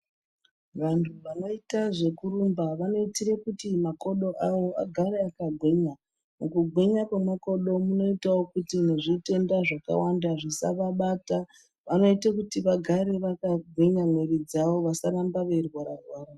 Vantu vanoita zvekurumba vanoitire kuti makodo avo agare akagwinya. Mukugwinya kwemakodo munoitawo kuti nezvitenda zvakawanda zvisavabata. Vanoite kuti vagare vakagwinya mwiiri dzavo, vasaramba veirwara-rwara.